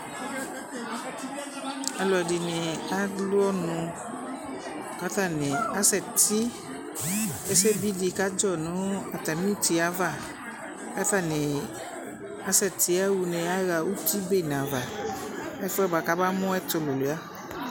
Alu ɛdini alu ɔnu ku atani asɛti ɛsɛbi di kadzɔ nu atami uti yɛ ava ku atani asɛti yaɣa une yaɣa uti bene ava ɛfu yɛ bua ku amamu ɛtuluia